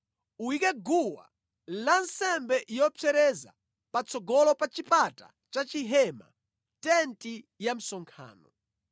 “Uyike guwa lansembe yopsereza patsogolo pa chipata cha chihema, tenti ya msonkhano.